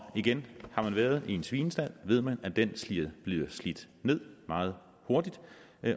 igen har man været i en svinestald ved man at den bliver slidt ned meget hurtigt